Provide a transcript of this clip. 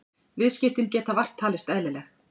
Viðskiptin geta vart talist eðlileg